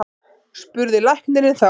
spurði læknirinn þá.